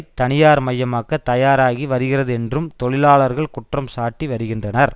தனியார் மயமாக்க தயாராகி வருகிறது என்றும் தொழிலாளர்கள் குற்றம் சாட்டி வருகின்றனர்